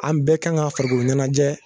An bɛɛ kan ŋa farikolo ɲɛnajɛ